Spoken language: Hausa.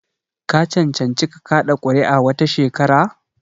Ka cancanci ka kaɗa kuri'a wata shekara?